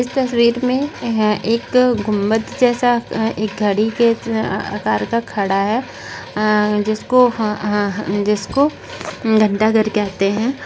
इस तस्वीर में यहाँ एक घुमत जैसा एक घड़ी के अह अह आकार का खड़ा है अह जिसको अह अह जिसको घंटा घर कहते हैं।